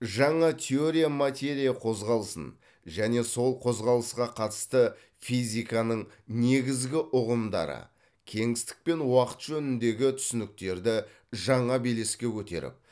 жаңа теория материя қозғалысын және сол қозғалысқа қатысты физиканың негізгі ұғымдары кеңістік пен уақыт жөніндегі түсініктерді жаңа белеске көтеріп